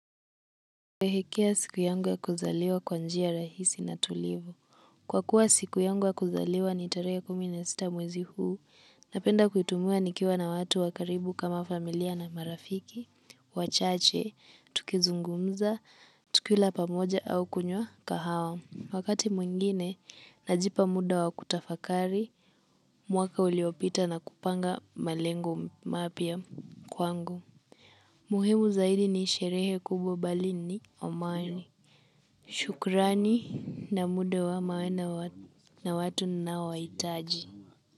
Sherehekea siku yangu ya kuzaliwa kwa njia rahisi na tulivu. Kwa kuwa siku yangu ya kuzaliwa ni tarehe kumi na sita mwezi huu. Napenda kuitumiwa nikiwa na watu wa karibu kama familia na marafiki wachache, tukizungumza, tukila pamoja au kunywa kahawa. Wakati mwingine, najipa muda wa kutafakari, mwaka uliopita na kupanga malengo mapya kwangu. Muhimu zaidi ni sherehe kubwa bali ni amani. Shukrani na muda wa maana na watu ninoawahitaji.